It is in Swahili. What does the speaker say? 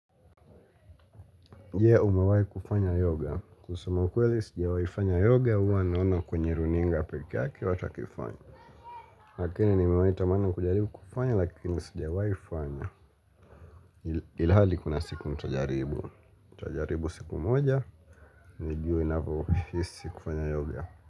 Je umawahi kufanya yoga. Kusema kweli sijawahi fanya yoga huwa naona kwenye runinga pekee yaei watu wakifanya. Lakini nimewahi tamana kujaribu kufanya lakini sijawahi fanya. Ilhali kuna siku nitajaribu nitajaribu siku moja. Nijue inavyohisi kufanya yoga.